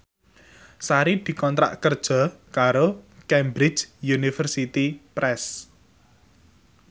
Sari dikontrak kerja karo Cambridge Universiy Press